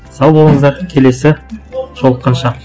сау болыңыздар келесі жолыққанша